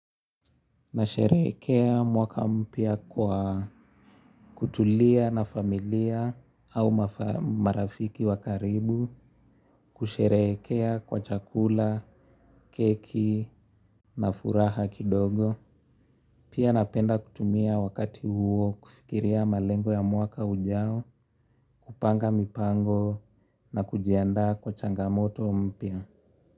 Nasherehekea mwaka mpya kwa kutulia na familia au marafiki wa karibu kusherehekea kwa chakula, keki na furaha kidogo. Pia napenda kutumia wakati huo kufikiria malengo ya mwaka ujao, kupanga mipango na kujiandaa kwa changamoto mpya.